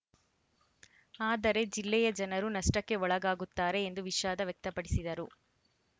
ಆದರೆ ಜಿಲ್ಲೆಯ ಜನರು ನಷ್ಟಕ್ಕೆ ಒಳಗಾಗುತ್ತಾರೆ ಎಂದು ವಿಷಾದ ವ್ಯಕ್ತಪಡಿಸಿದರು